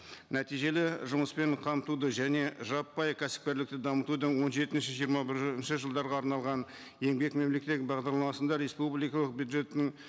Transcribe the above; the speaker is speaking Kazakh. нәтижелі жұмыспен қамтуды және жаппай кәсіпкерлікті дамытудың он жетінші жиырма бірінші жылдарға арналған еңбек мемлекеттік бағдарламасында республикалық бюджетін